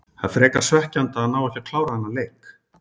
Það er frekar svekkjandi að ná ekki að klára þennan leik